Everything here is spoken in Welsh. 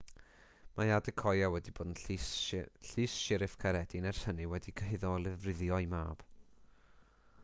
mae adekoya wedi bod yn llys siryf caeredin ers hynny wedi'i chyhuddo o lofruddio'i mab